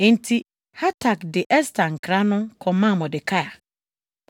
Enti Hatak de Ɛster nkra no kɔmaa Mordekai.